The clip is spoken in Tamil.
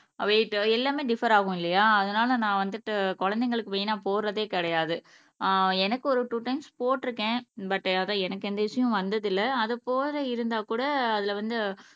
வெய்ட் எல்லாமே டிஃப்பர் ஆகும் இல்லையா அதுனால நான் வந்துட்டு குழந்தைங்களுக்கு மெய்னா போடுறதே கிடையாது ஆஹ் எனக்கு ஒரு டூ டைம்ஸ் போட்டுருக்கேன் பட் எனக்கு எந்த இஷ்யுவும் வந்தது இல்ல அது போல இருந்தா கூட அதுல வந்து